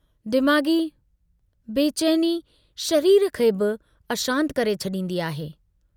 दिमाग़ी बेचैनी शरीर खे बि अशांत करे छड़ींदी आहे।